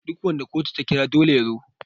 duk wanda kotu ta kira dole ya zo